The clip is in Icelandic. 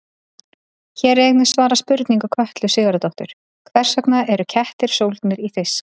Hér er einnig svarað spurningu Kötlu Sigurðardóttur: Hvers vegna eru kettir sólgnir í fisk?